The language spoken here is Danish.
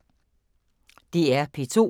DR P2